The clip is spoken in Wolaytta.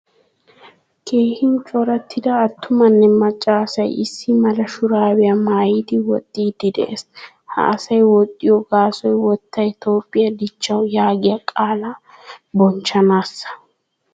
Keehin corattida attumane macca asay issi mala shuraabiya maayidi wooxxidi de'ees. Ha asay woxxiyo gaasoy wottay Toophphiyaa dichchawu yaagiyaa qaala bonchchanasa.